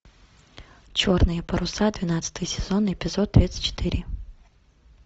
черные паруса двенадцатый сезон эпизод тридцать четыре